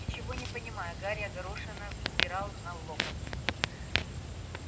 ничего не понимая гарри огорошенно взирал на локонса